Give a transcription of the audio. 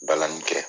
Balani kɛ